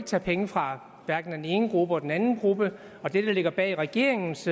tage penge fra hverken den ene gruppe eller den anden gruppe og det der ligger bag regeringens